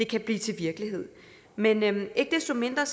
kan blive til virkelighed men ikke desto mindre